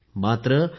never lose hope